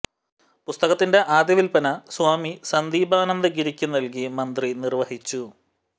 പുസ്തകത്തിന്റെ ആദ്യ വില്പന സ്വാമി സന്ദീപാനന്ദഗിരിക്ക് നൽകി മന്ത്രി നിർവഹിച്ചു